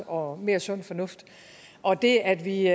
og mere sund fornuft og det at vi